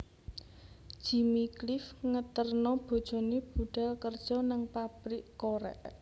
Jimmy Cliff ngeterno bojone budhal kerjo nang pabrik korek